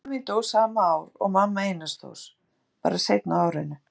Mamma mín dó sama ár og mamma Einars Þórs, bara seinna á árinu.